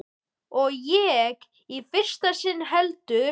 Og ekki í fyrsta sinn heldur.